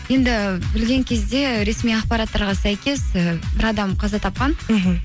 енді білген кезде ресми ақпараттарға сәйкес і бір адам қаза тапқан мхм